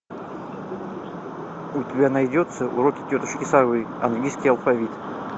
у тебя найдется уроки тетушки совы английский алфавит